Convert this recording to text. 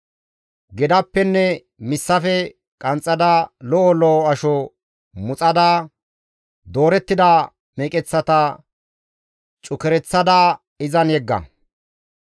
Gedappenne missafe qanxxada, lo7o lo7o asho muxada, doorettida meqeththata cukereththada izan yegga.